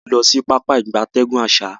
A n lo sibi Pápá ìgbatẹ́gùn asa.